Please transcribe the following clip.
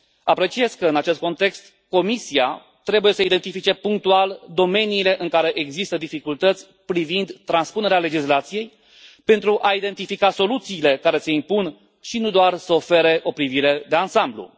Apreciez că, în acest context, Comisia trebuie să identifice punctual domeniile în care există dificultăți privind transpunerea legislației, pentru a identifica soluțiile care se impun și nu doar să ofere o privire de ansamblu.